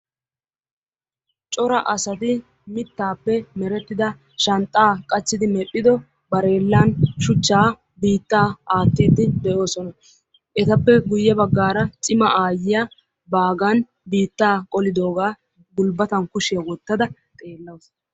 cora asati mittappe meretida shanxxa qachchidi medhdhido barelan shuchcha biitta aattide de'oosona. etappe guyye baggaara cima aayyiya baaggan biitta qolidooga gulbbatan kushiyaa wottada xeellawus.